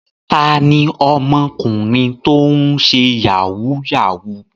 Ta ni ọmọkùnrin tó ń ṣe yahoo yahoo?